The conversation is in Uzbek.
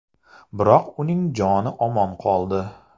Biroq uning joni omon qoldi.